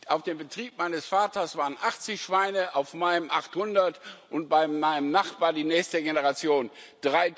Auf dem Betrieb meines Vaters waren 80 Schweine, auf meinem 800, und bei meinem Nachbarn die nächste Generation sind es